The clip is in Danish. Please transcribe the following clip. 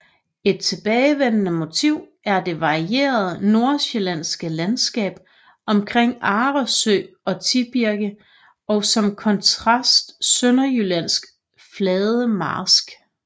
Et tilbagevendende motiv er det varierede Nordsjællandske landskab omkring Arresø og Tibirke og som kontrast Sønderjyllands flade marsk